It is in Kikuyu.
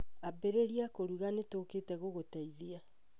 Ambĩrĩria kũruga nĩ tũũkĩte gũgũteithia